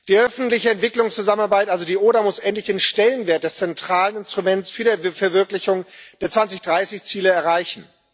Die öffentliche Entwicklungszusammenarbeit, also die ODA, muss endlich den Stellenwert des zentralen Instruments für die Verwirklichung der 2030 Ziele erreichen.